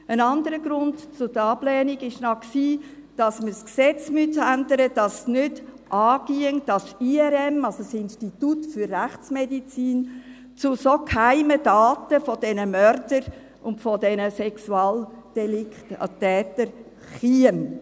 Ein anderer Grund für die Ablehnung war, dass man das Gesetz ändern müsste, dass es nicht angehe, dass das Institut für Rechtsmedizin (IRM) zu so geheimen Daten dieser Mörder und dieser Sexualdelikttäter käme.